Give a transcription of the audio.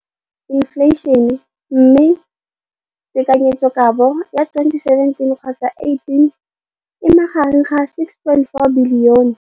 Infleišene, mme tekanyetsokabo ya 2017, 18, e magareng ga R6.4 bilione.